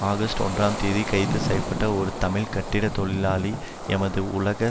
August ஒன்றாம் தேதி கைது செய்ய பட்ட ஒரு தமிழ் கட்டிட தொழிலாளி எமது உலக